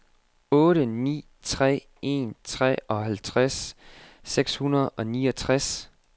otte ni tre en treoghalvtreds seks hundrede og niogtres